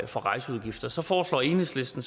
for rejseudgifter så foreslår enhedslisten